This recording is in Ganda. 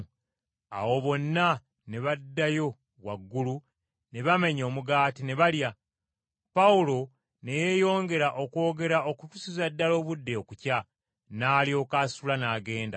Awo bonna ne baddayo waggulu ne bamenya omugaati ne balya. Pawulo ne yeyongera okwogera okutuusiza ddala obudde okukya, n’alyoka asitula n’agenda.